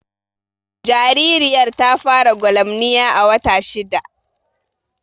Jaririyar ta fara gwalamniya a wata shidda